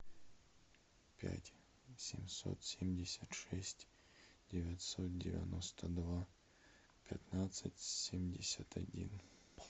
пять семьсот семьдесят шесть девятьсот девяносто два пятнадцать семьдесят один